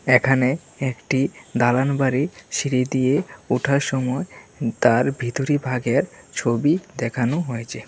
এখানে একটি দালান বাড়ি সিঁড়ি দিয়ে ওঠার সময় উ তার ভিতরি ভাগের ছবি দেখানো হয়েছে।